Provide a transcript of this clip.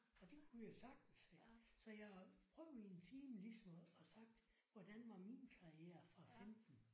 Og det kunne jeg sagtens så jeg prøvede i en time ligesom og sagt hvordan var min karriere fra 15